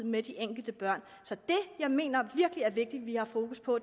med de enkelte børn så det jeg mener virkelig er vigtigt at vi har fokus på